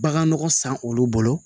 Bagan nɔgɔ san olu bolo